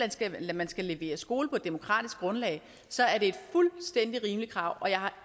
at man skal levere skole på et demokratisk grundlag så er det fuldstændig rimelige krav og jeg har